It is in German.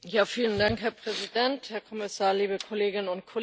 Herr Präsident, Herr Kommissar, liebe Kolleginnen und Kollegen!